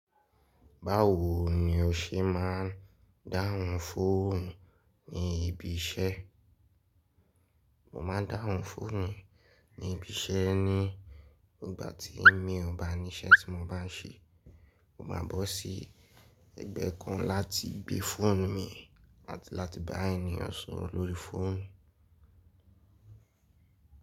Báwo ni o ṣe máà ń dáhùn fóònù ní ibi iṣẹ́? Mo máa ń dáhùn fóònù ní ibi iṣẹ́ ní ìgbà tí èmi ò bá ní iṣẹ́ tí mo bá ń ṣe. Mo máa bọ́ sí ẹgbẹ́ kan láti gbé fóònù mi láti bá ènìyàn sọ̀rọ̀ lórí fóònù.